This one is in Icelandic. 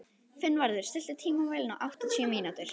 Finnvarður, stilltu tímamælinn á áttatíu mínútur.